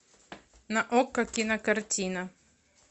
на окко кинокартина